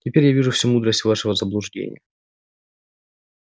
теперь я вижу всю мудрость вашего заблуждения